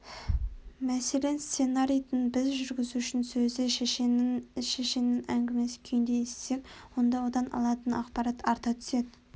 мәселен сценарийді біз жүргізушінің сөзі шешеннің әңгімесі күйінде естісек онда одан алатын ақпарат арта түседі